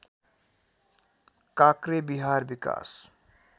काक्रेबिहार विकास